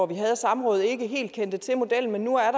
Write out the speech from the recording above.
vi havde samrådet helt kendte til modellen men nu er